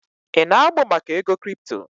Ị na-amụ maka ego kripto?